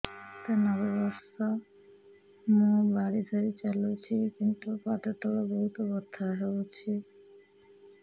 ମୋତେ ନବେ ବର୍ଷ ମୁ ବାଡ଼ି ଧରି ଚାଲୁଚି କିନ୍ତୁ ପାଦ ତଳ ବହୁତ ବଥା ହଉଛି